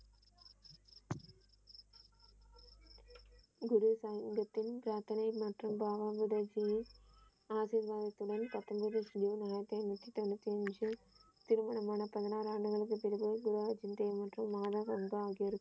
குரு சங்கத்தின் பிராத்தனை மற்றும் பாபா குருஜி ஆசிர்வாதத்துடன் பத்தொன்பது ஜூன் ஆயிரத்தி ஐநுத்தி தொன்னுத்தி அஞ்சு திருமணம் ஆன பதினாறு ஆண்டுகளுக்குப் பிறகு மற்றும் மாதா வந்தான்.